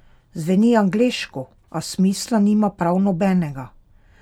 Zveni angleško, a smisla nima prav nobenega!